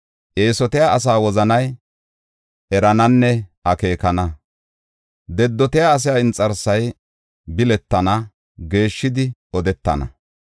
Eesotiya asaa wozanay erananne akeekana. Dedotiya asaa inxarsay biletana; geeshshidi odetana.